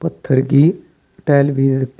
पत्थर की टाइल भी है रखी।